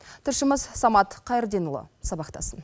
тілшіміз самат қайырденұлы сабақтасын